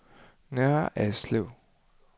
Nørre Alslev